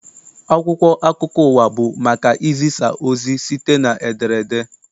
Akwụkwọ akụkọ ụwa bụ maka izisa ozi site n'ederede.